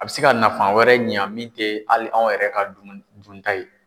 A bɛ se ka nafan wɛrɛ ɲan min tɛ hali anw yɛrɛ ka dumuni dunta ye.